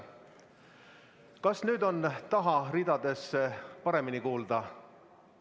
Kas nüüd on taha ridadesse paremini kuulda?